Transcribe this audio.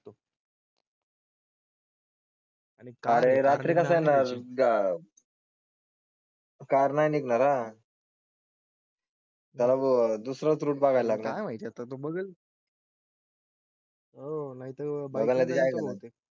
Car नाही निघणार अं त्याला दुसराच रूट बघायला लागणार काय माहिती आता तो बघेल. हो नाही तर